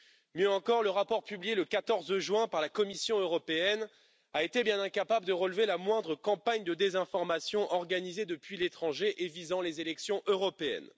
Mieux encore, le rapport publié le 14 juin par la Commission européenne a été bien incapable de relever la moindre campagne de désinformation organisée depuis l'étranger et axée sur les élections européennes.